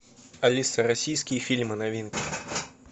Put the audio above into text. алиса российские фильмы новинки